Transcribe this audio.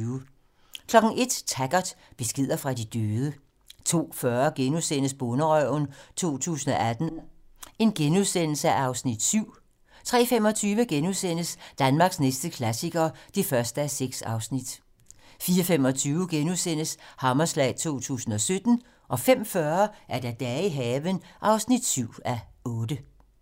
01:00: Taggart: Beskeder fra de døde 02:40: Bonderøven 2018 (Afs. 7)* 03:25: Danmarks næste klassiker (1:6)* 04:25: Hammerslag 2017 * 05:40: Dage i haven (7:8)